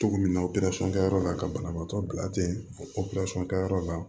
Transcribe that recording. Cogo min na operasɔn kɛyɔrɔ la ka banabaatɔ bila ten o ka yɔrɔ la